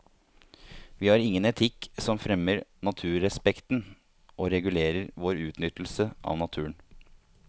Vi har ingen etikk som fremmer naturrespekten og regulerer vår utnyttelse av naturen.